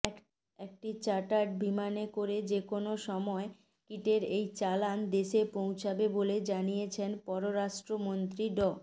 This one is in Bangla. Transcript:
একটি চার্টার্ড বিমানে করে যেকোনো সময় কিটের এই চালান দেশে পৌঁছাবে বলে জানিয়েছেন পররাষ্ট্রমন্ত্রী ড